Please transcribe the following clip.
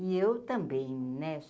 E eu também, né?